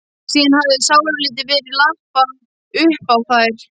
Síðan hafði sáralítið verið lappað uppá þær.